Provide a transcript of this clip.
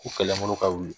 U kɛlen olu ka wuli